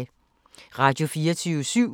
Radio24syv